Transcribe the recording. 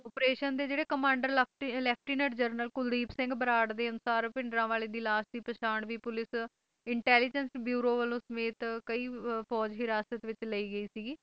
operation ਦੇ ਜਿਹੜੇ commander ਤੇ ਲੇਫ਼ਟੀਨੇੰਟ ਜਰਨਲ ਕੁਲਦੀਪ ਸਿੰਘ ਬਰਾੜ ਦੇ ਅਨੁਸਾਰ ਭਿੰਡਰਾਂਵਾਲੇ ਦੀ ਲਾਸ਼ ਦੀ ਪਹਿਚਾਣ ਵੀ ਪੁਲਿਸ ਇੰਟੈੱਲਲੀਜੇਂਟ ਬਿਊਰੋ ਸਮੇਤ ਕਈ ਫੌਜ ਹਿਰਾਸਤ ਵਿੱਚ ਲਈ ਗਈ ਸੀਗੀ